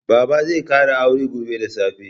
Baba zai ƙara aure gobe da safe.